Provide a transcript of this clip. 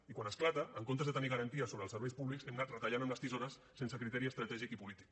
i quan esclata en comptes de tenir garanties sobre els serveis públics hem anat retallant amb les tisores sense criteri estratègic i polític